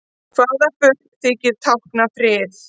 Hvaða fugl þykir tákna frið?